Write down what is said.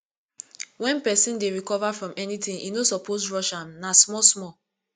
wen pesin dey recover from anything e no suppose rush am na small small